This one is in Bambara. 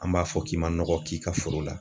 An b'a fɔ k'i m'a nɔgɔ k'i ka foro la.